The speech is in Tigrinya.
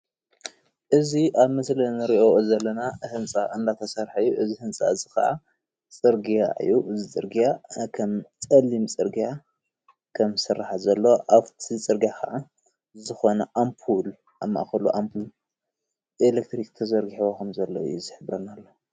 እዚ ኣብ ምስሊ እንሪኦ ዘለና ህንፃ እንዳተሰርሐ እዩ። እዚ ህንፃ እዚ ከዓ ፅርግያ እዩ። እዚ ፅርግያ ከም ፀሊም ዝስራሕ ዘሎ ኣብቲ ፅርግያ ክዓ ዝኮነ ኣምፑል ኣብ ማእከሉ ኣምፑል ኤሌትሪክ ተዘርጊሕዎ ከም ዘሎ እዩ ዝሕብረልና፡፡